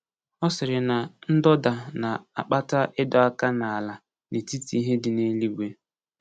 Ọ sịrị na ndọda na-akpata ịdọ aka n’ala n’etiti ihe dị n’eluigwe.